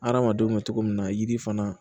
Hadamadenw bɛ cogo min na yiri fana